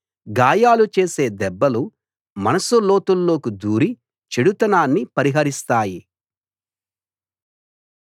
గాయాలు చేసే దెబ్బలు మనసు లోతుల్లోకి దూరి చెడుతనాన్ని పరిహరిస్తాయి